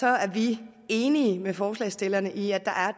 er vi enige med forslagsstillerne i at